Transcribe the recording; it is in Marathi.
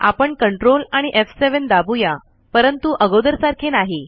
आपण ctrl आणी एफ7 दाबुया परंतु अगोदर सारखे नाही